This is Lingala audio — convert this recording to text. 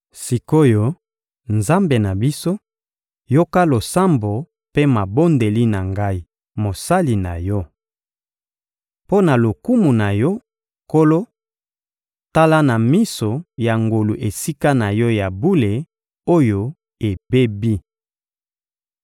Sik’oyo, Nzambe na biso, yoka losambo mpe mabondeli na ngai, mosali na Yo! Mpo na lokumu na Yo, Nkolo, tala na miso ya ngolu Esika na Yo ya bule oyo ebebi!